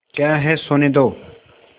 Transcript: क्या है सोने दो